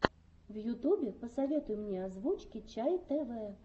в ютубе посоветуй мне озвучки чай тв